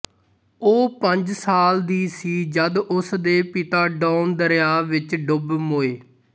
ਉਹ ਪੰਜ ਸਾਲ ਦੀ ਸੀ ਜਦ ਉਸ ਦੇ ਪਿਤਾ ਡੌਨ ਦਰਿਆ ਵਿੱਚ ਡੁੱਬ ਮੋਏ